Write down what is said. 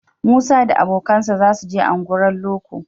Musa da abokansa za su je unguwar loko